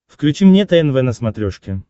включи мне тнв на смотрешке